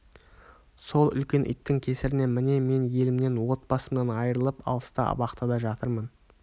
сол үлкен иттің кесірінен міне мен елімнен отбасымнан айырылып алыста абақтыда жатырмын